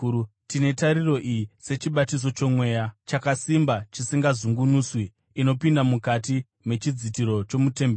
Tine tariro iyi sechibatiso choMweya, chakasimba chisingazungunuswi. Inopinda mukati mechidzitiro chomutemberi,